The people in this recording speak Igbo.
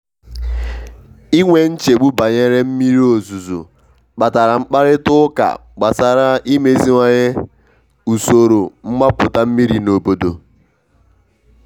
i nwe nchegbu banyere mmiri ozuzo kpatara mkparịta ụka gbasara imeziwanye usoro mgbapụta mmiri n’obodo.